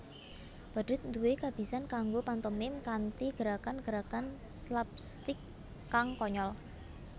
Badhut nduwé kabisan kanggo pantomim kanthi gerakan gerakan slapstik kang konyol